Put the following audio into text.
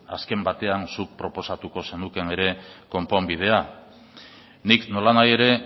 azken batean zuk proposatuko zenukeen konponbidea nik nolanahi ere